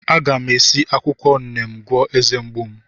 A ga m esi akwukwo Neem gwọọ eze mgbu m.